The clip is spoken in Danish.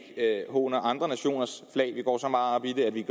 håner andre nationers flag vi går så meget op i det at vi